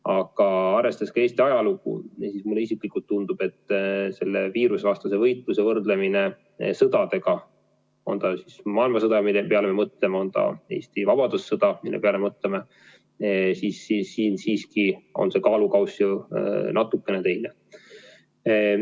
Aga arvestades ka Eesti ajalugu, mulle isiklikult tundub, et selle viirusevastase võitluse võrdlemine sõdadega – on see siis maailmasõda, mille peale me mõtleme, või on see Eesti vabadussõda, mille peale me mõtleme –, siin siiski on kaalukauss ju natukene teine.